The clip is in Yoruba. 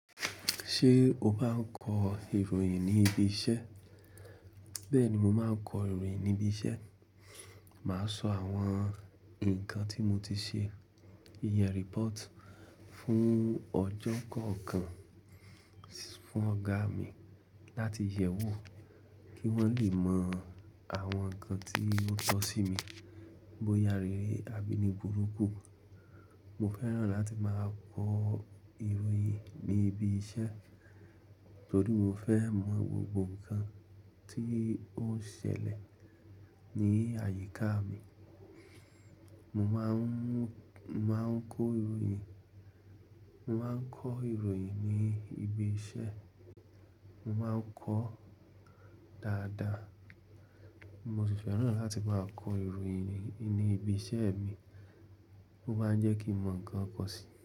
Ṣé o máa n kọ ìròyìn ní ibi iṣẹ́? Bẹ́ẹ̀ni, mo máa ń kọ ìròyìn ní ibi iṣẹ́. Màá sọ àwọn ǹkan tí mo ti ṣe iyen report fún ọjọ́ kan kan fún ọ̀gá mi láti yẹ̀wò kí wọ́n le mọ àwọn ǹkan tí ó tọ́ sí mi bó ya rere àbí ní burúkú. Mo fẹ́ràn láti máa kọ ìròyìn ní ibi iṣẹ́ torí mo fẹ́ mọ gbogbo ǹkan tí ó ń ṣẹlẹ̀ ní àyíká mi. Mo máa ń mú, máa ń kọ ìròyìn, mo máa ń kọ ìròyìn ní ibi iṣẹ́, mo máa ń kọ dáadáa. Mo sì fẹ́ràn láti máa kọ ìròyìn ní ibi iṣẹ́ mi. Ó máa ń jẹ́ kí n mọ ǹkan kọ̀ sí.